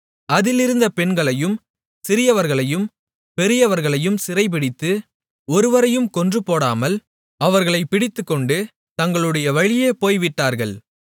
அதிலிருந்த பெண்களையும் சிறியவர்களையும் பெரியவர்களையும் சிறைபிடித்து ஒருவரையும் கொன்றுபோடாமல் அவர்களைப் பிடித்துக்கொண்டு தங்களுடைய வழியே போய்விட்டார்கள்